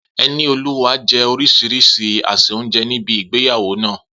Enioluwa jẹ orísìírísìí àsè oúnjẹ ní ibi ìgbéyàwó náà.